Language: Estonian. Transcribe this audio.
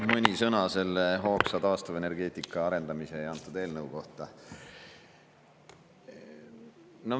Mõni sõna hoogsa taastuvenergeetika arendamise ja selle eelnõu kohta.